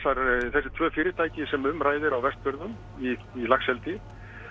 þessi tvö fyrirtæki sem um ræðir á Vestfjörðum í laxeldi